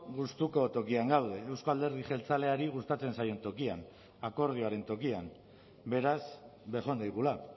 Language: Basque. gustuko tokian gaude euzko alderdi jeltzaleari gustatzen zaion tokian akordioaren tokian beraz bejon daigula